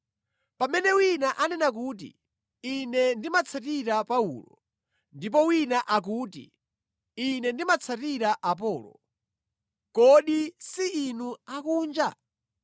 Pamene wina anena kuti, “Ine ndimatsatira Paulo,” ndipo wina akuti, “Ine ndimatsatira Apolo,” Kodi si inu akunja?